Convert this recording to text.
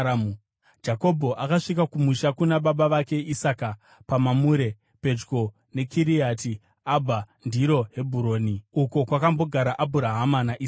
Jakobho akasvika kumusha kuna baba vake Isaka paMamure, pedyo neKiriati Abha (ndiro Hebhuroni), uko kwakambogara Abhurahama naIsaka.